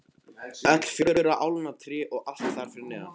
Öll fjögurra álna tré og allt þar fyrir neðan.